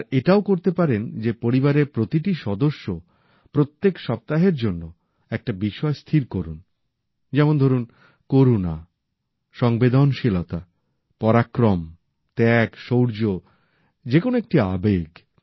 আর এটাও করতে পারেন যে পরিবারের প্রতিটি সদস্য প্রত্যেক সপ্তাহের জন্য একটি বিষয় স্থির করুন যেমন ধরুন করুণা সংবেদনশীলতা পরাক্রম ত্যাগ শৌর্য যেকোনো একটি আবেগ